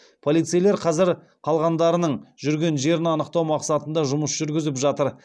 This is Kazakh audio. полицейлер қазір қалғандарының жүрген жерін анықтау мақсатында жұмыс жүргізіп жатыр